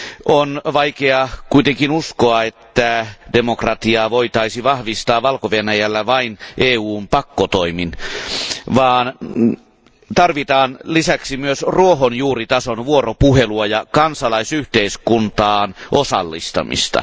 On vaikeaa kuitenkin uskoa, että demokratiaa voitaisiin vahvistaa Valko Venäjällä vain EUn pakkotoimin, vaan tarvitaan lisäksi myös ruohonjuuritason vuoropuhelua ja kansalaisyhteiskuntaan osallistamista.